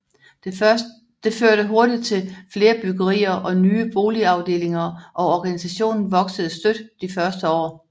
Det førte hurtig til flere byggerier og nye boligafdelinger og organisationen voksede støt de første år